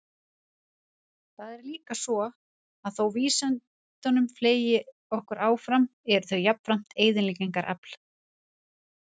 Það er líka svo, að þótt vísindin fleyti okkur áfram eru þau jafnframt eyðileggingarafl.